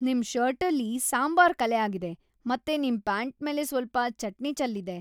ನಿಮ್ ಷರ್ಟಲ್ಲಿ ಸಾಂಬಾರ್ ಕಲೆ ಆಗಿದೆ, ಮತ್ತೆ ನಿಮ್‌ ಪ್ಯಾಂಟ್ ಮೇಲೆ ಸ್ವಲ್ಪ ಚಟ್ನಿ ಚೆಲ್ಲಿದೆ.